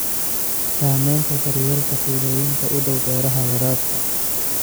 Saamaynta daryeelka tuulooyinka u dhow beeraha waraabka.